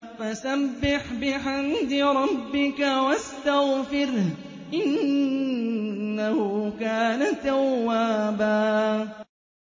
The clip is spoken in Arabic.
فَسَبِّحْ بِحَمْدِ رَبِّكَ وَاسْتَغْفِرْهُ ۚ إِنَّهُ كَانَ تَوَّابًا